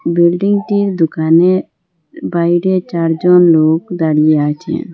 Building -টির দোকানের বাইরে চারজন লোক দাঁড়িয়ে আছে।